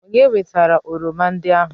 Onye wetara oroma ndị ahụ?